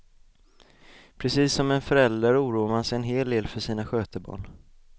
Precis som en förälder oroar man sig en hel del för sina skötebarn.